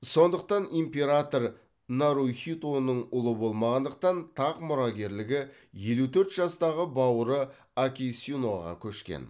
сондықтан император нарухитоның ұлы болмағандықтан тақ мұрагерлігі елу төрт жастағы бауыры акисиноға көшкен